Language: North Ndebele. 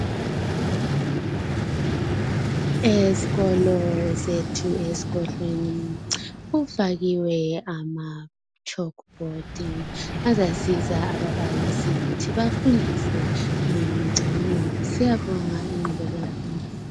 Ezikolo zethu esigodlweni kufakiwe amachalkboard azasiza ababalisi ukuthi bafubdise kangcono siyabonga ingqubeleka phambili.